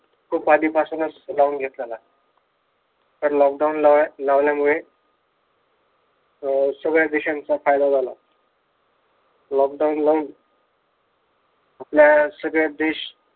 खूप आधीपासूनच लावून घेतलेला. तर लॉकडाऊन लावल लॉकडाऊन लावल्यामुळे अह सगळ्या देशांच्या फायदा झाला. लॉकडाऊन लावून आपल्या सगळेच देश